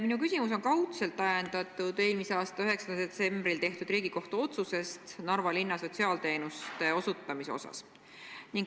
Minu küsimus on kaudselt ajendatud eelmise aasta 9. detsembril tehtud Riigikohtu otsusest Narva linna sotsiaalteenuste osutamise kohta.